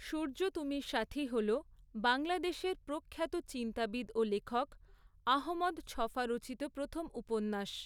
সূর্য তুমি সাথী' হল বাংলাদেশের প্রখ্যাত চিন্তাবিদ ও লেখক আহমদ ছফা রচিত প্রথম উপন্যাস।